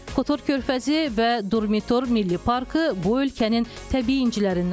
Kotor körfəzi və Durmitor Milli Parkı bu ölkənin təbii incilərindəndir.